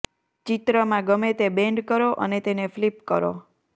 ચિત્રમાં ગમે તે બેન્ડ કરો અને તેને ફ્લિપ કરો